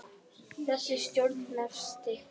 Þessi stjórn nefnist